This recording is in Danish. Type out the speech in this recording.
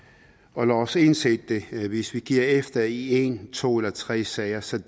og lad os indse det hvis vi giver efter i en to eller tre sager sager